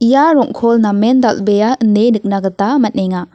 ia rong·kol namen dal·bea ine nikna gita man·enga.